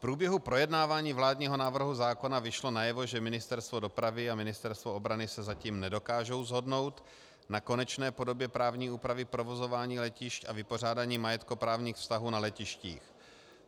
V průběhu projednávání vládního návrhu zákona vyšlo najevo, že Ministerstvo dopravy a Ministerstvo obrany se zatím nedokážou shodnout na konečné podobě právní úpravy provozování letišť a vypořádání majetkoprávních vztahů na letištích.